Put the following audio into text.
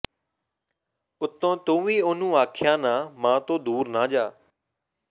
ਉੱਤੋਂ ਤੂੰ ਵੀ ਓਹਨੂੰ ਆਖਿਆ ਨਾ ਮਾਂ ਤੋਂ ਦੂਰ ਨਾ ਜਾ